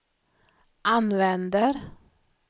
använder